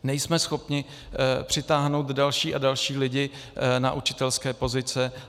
Nejsme schopni přitáhnout další a další lidi na učitelské pozice.